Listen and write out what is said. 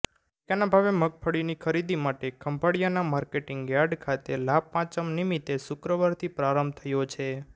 ટેકાના ભાવે મગફળીની ખરીદી માટે ખંભાળિયાના માર્કેટીંગ યાર્ડ ખાતે લાભપાંચમ નિમિતે શુક્રવારથી પ્રારંભ થયો છે